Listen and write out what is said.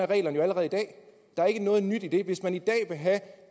reglerne jo allerede i dag der er ikke noget nyt i det hvis man i dag vil have